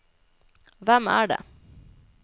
hvem er det